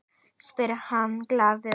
spyr hann glaður.